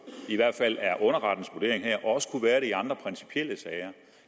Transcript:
i hvert fald er underrettens vurdering her og også kunne være det i andre principielle sager